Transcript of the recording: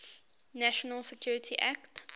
national security act